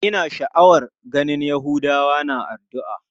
Ina sha'awar ganin yahudawa na addu'a.